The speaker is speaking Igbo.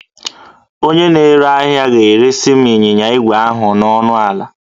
Onye na-ere ahịa ga-eresị m ịnyịnya ígwè ahụ ọnụ ala